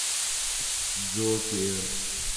джокер